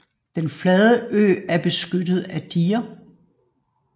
Den flade ø er beskyttet af diger